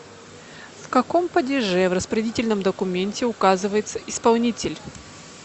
в каком падеже в распорядительном документе указывается исполнитель